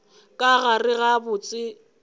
ka gare ga botse ga